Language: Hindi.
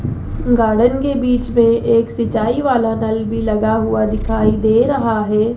गार्डन के बीच में एक सिंचाई वाला नल भी लगा हुआ दिखाई दे रहा है।